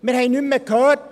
Wir hörten nichts mehr.